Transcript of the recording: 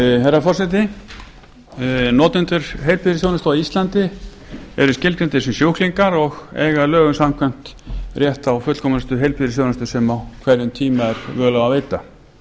herra forseti notendur heilbrigðisþjónustu á íslandi eru skilgreindir sem sjúklingar og eiga lögum samkvæmt rétt á fullkomnustu heilbrigðisþjónustu sem á hverjum tíma er völ á að veita